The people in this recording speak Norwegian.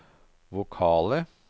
vokale